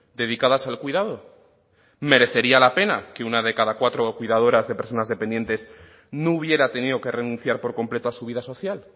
dedicadas al cuidado merecería la pena que una de cada cuatro cuidadoras de personas dependientes no hubiera tenido que renunciar por completo a su vida social